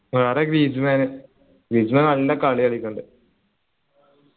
വേറെ Griezmann Griezmann നല്ല കളി കളിക്കലുണ്ട്